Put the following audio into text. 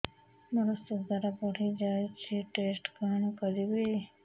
ମୋର ଶୁଗାର ବଢିଯାଇଛି ଟେଷ୍ଟ କଣ କରିବି